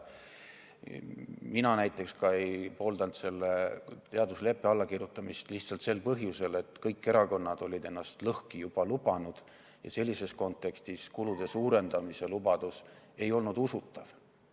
Mina näiteks ei pooldanud ka selle teadusleppe allakirjutamist, lihtsalt sel põhjusel, et kõik erakonnad olid juba ennast lõhki lubanud ja sellises kontekstis ei olnud kulude suurendamise lubadus usutav.